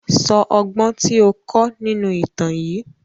Sọ ọgbọ́n tí ó kọ́ nínú ìtàn yìí!